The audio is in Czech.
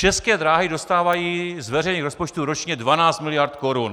České dráhy dostávají z veřejných rozpočtů ročně 12 miliard korun.